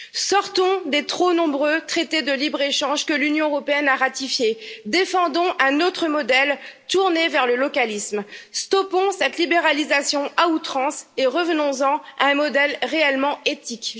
Sortons des trop nombreux traités de libre échange que l'Union européenne a ratifiés, défendons un autre modèle tourné vers le localisme, stoppons cette libéralisation à outrance et revenons en à un modèle réellement éthique.